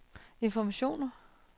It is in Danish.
informationer